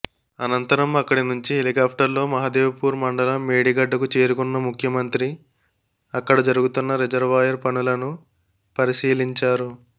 అనంతరం అక్కడి నుంచి హెలికాప్టర్లో మహదేవ్పూర్ మండలం మేడిగడ్డకు చేరుకున్న ముఖ్యమంత్రి అక్కడ జరుగుతున్న రిజర్వాయర్ పనులను పరిశీలించారు